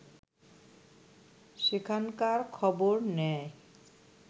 সেখানকার খবর নেয়